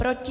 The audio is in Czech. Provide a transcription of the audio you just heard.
Proti?